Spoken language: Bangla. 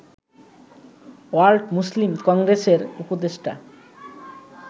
ওয়ার্ল্ড মুসলিম কংগ্রেসের উপদেষ্টা